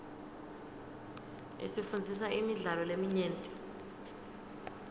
isifundzisa imidlalo leminyenti